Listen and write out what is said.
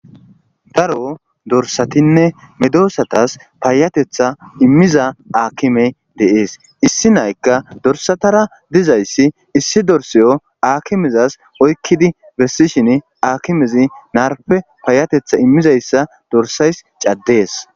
Daro dorssatinne medosatas payateththa iimmiza haakimey de'es issi na'aykka dorssatara dizayssa issi dorssito haakimezas oykidii besishin haakimezii naarppe payateththa iimmizayssa dorssayssi caddes.